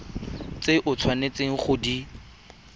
tse o tshwanetseng go di